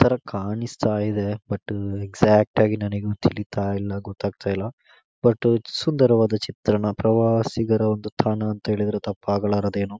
ತರ ಕಾಣಿಸ್ತಾ ಇದೆ ಬಟ್ ಎಸ್ಕ್ಯಾಟಾಗ ನನಗೆ ತಿಳೀತಲಿಲ್ಲ ಗೊತ್ತಾಗ್ತಲಿಲ್ಲ ಬಟ್ ಸುಂದರವಾದ ಚಿತ್ರಣ ಪ್ರವಾಸಿಗರ ಒಂದು ತಾಣ ಅಂದ್ರೆ ತಪ್ಪಾಗಲಾದೇನೋ .